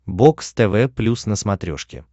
бокс тв плюс на смотрешке